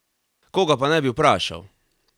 Koga pa naj bi vprašal?